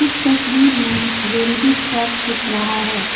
तस्वीर में railway track दिख रहा हैं।